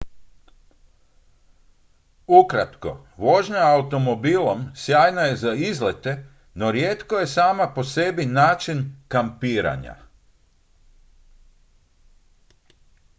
"ukratko vožnja automobilom sjajna je za izlete no rijetko je sama po sebi način "kampiranja"".